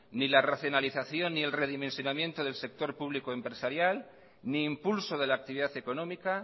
ni la racionalización ni el redimensionamiento del sector público empresarial ni impulso de la actividad económica